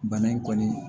Bana in kɔni